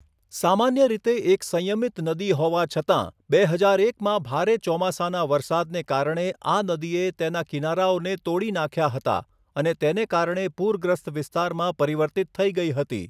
સામાન્ય રીતે એક સંયમિત નદી હોવા છતાં, બે હજાર એકમાં ભારે ચોમાસાનાં વરસાદને કારણે આ નદીએ તેના કિનારાઓને તોડી નાંખ્યા હતા અને તેને કારણે પૂરગ્રસ્ત વિસ્તારમાં પરિવર્તિત થઈ ગઈ હતી.